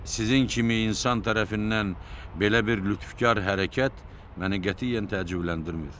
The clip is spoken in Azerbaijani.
Sizin kimi insan tərəfindən belə bir lütfkar hərəkət məni qətiyyən təəccübləndirmir.